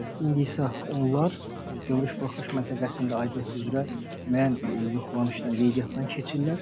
İndi isə onlar gömrük buraxılış məntəqəsində aidiyyəti üzrə müəyyən yoxlanışdan qeydiyyatdan keçirlər.